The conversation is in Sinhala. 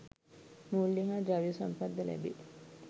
මූල්‍ය හා ද්‍රව්‍ය සම්පත් ද ලැබේ.